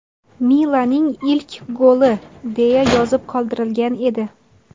Milaning ilk goli!” deya yozib qoldirgan edi.